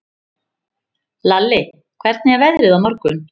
Lalli, hvernig er veðrið á morgun?